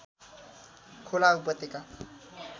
खोला उपत्यका